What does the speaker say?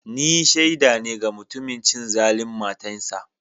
Ni shaida ne ga mutumin cin zaluncin matansa.